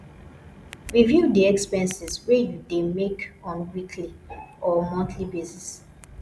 review di expenses wey you dey make on weekly or monthly basis